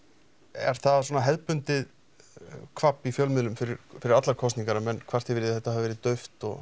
er það svona hefðbundið kvabb í fjölmiðlum fyrir fyrir allar kosningar að menn kvarti yfir því að þetta hafi verið dauft og